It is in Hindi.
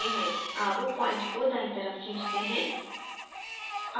अब point को दायीं तरफ खींचते हैं